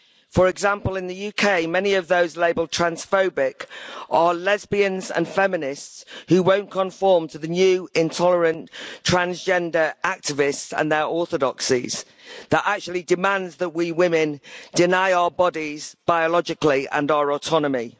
For example, in the UK, many of those labelled transphobic' are lesbians and feminists who won't conform to the new intolerant transgender activists and their orthodoxies that actually demand that we women deny our bodies biologically and our autonomy.